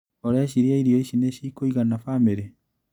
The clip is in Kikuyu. ũreciria irio ici nĩcikũigana famirĩ?